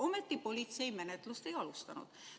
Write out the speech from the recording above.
Ometi politsei menetlust ei alustanud.